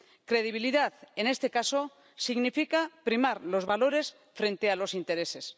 Credibilidad, en este caso, significa primar los valores frente a los intereses.